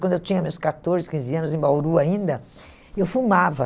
Quando eu tinha meus catorze, quinze anos, em Bauru ainda, eu fumava.